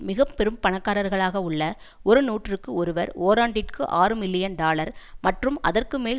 மிக பெரும் பணக்காரர்களாக உள்ள ஒரு நூற்றுக்கு ஒருவர் ஓராண்டிற்கு ஆறு மில்லியன் டாலர் மற்றும் அதற்கு மேல்